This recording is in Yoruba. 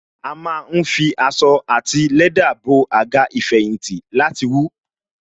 A má ń fi aṣọ àti lẹ́dà bo Àga ìfẹ̀yìntì láti wú